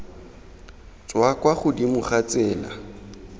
tswa kwa godimo ga tsela